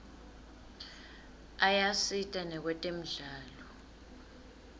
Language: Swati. ayasita nakwetemidlalo